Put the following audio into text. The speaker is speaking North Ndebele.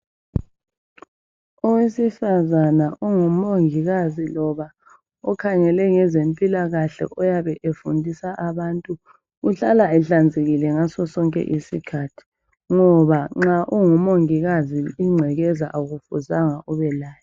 Owesifazana ongumongikazi ngoba ukhangele ngezempilakahle oyabe efundisa abantu uhlala ehlanzekile ngaso sonke isikhathi ngoba nxa ungumongikazi ingcekeza akufuzanga ube layo.